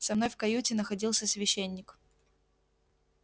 со мной в каюте находился священник